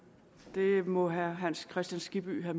det må herre hans kristian skibby have